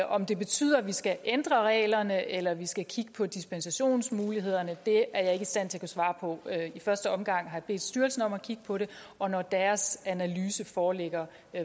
om det betyder at vi skal ændre reglerne eller om vi skal kigge på dispensationsmulighederne er jeg ikke i stand til at svare på i første omgang har jeg bedt styrelsen om at kigge på det og når deres analyse foreligger